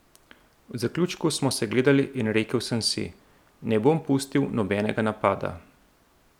V zaključku smo se gledali in rekel sem si: 'Ne bom pustil nobenega napada.